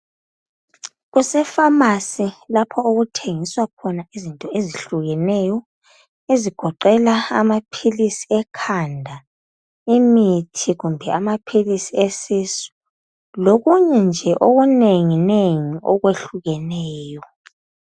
Kuse"pharmarcy" lapho okuthengiswa khona izinto ezihlukeneyo ezigoqela amaphilisi ekhanda, imithi kumbe amaphilisi esisu, lokunye nje okunengi nengi okwehlukeneyo.